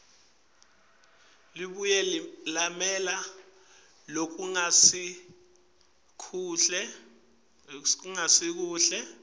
labuye lamela lokungasikuhle